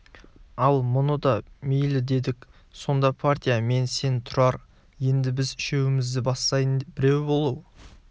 ал мұны да мейлі делік сонда партия мен сен тұрар енді біз үшеуімізді бастайтын біреу болу